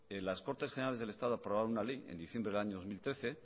las cortes generales del estado aprobaron una ley en diciembre del año dos mil trece